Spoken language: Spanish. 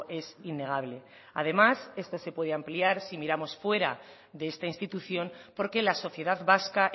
es innegable además esto se puede ampliar si miramos fuera de esta institución porque la sociedad vasca